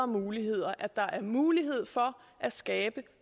muligheder at der er mulighed for at skabe